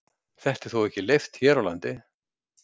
Þetta er þó ekki leyft hér á landi.